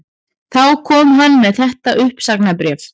Þá kom hann með þetta uppsagnarbréf